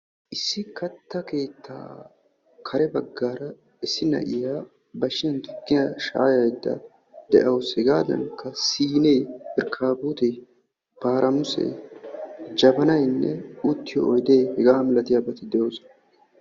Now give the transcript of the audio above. issi katta keettaappe kare bagaara issi na'iya bashshiyaan tukkiya shaayayida de'awus, hegadankka siiniyan irkkaabotta, paramusse, jabanaynne hegadankka uttiyo oyde hegaa malattiyaabati de'oosona.